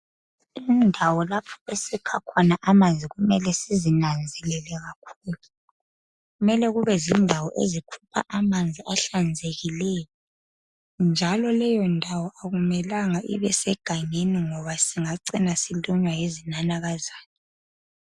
Indawo lapho esikha khona amanzi kumele sizinanzelele kakhulu, mele kube zindawo ezikhupha amanzi ahlanzekileyo, njalo leyo ndawo akumelanga ibe segangeni singacina silunywa yizinanakazana.